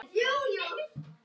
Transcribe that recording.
Sæll frændi!